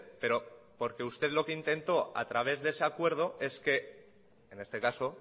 pero porque usted lo que intentó a través de ese acuerdo es que en este caso